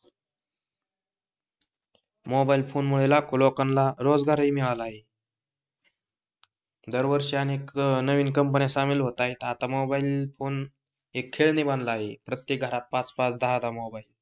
mobile phone मुळे लाखो लोकांना रोजगार ही मिळाला आहे दरवर्षी अनेक नवीन कंपन्या सामील होत आहे आता मोबाईल फोन हे खेळणी बनलं आहे प्रत्येक घरात पाच पाच, दहा दहा मोबाई